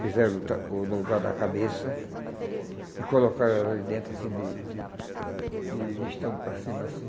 Fizeram o o no lugar da cabeça e colocaram ela ali dentro, assim, de de listão para cima, assim.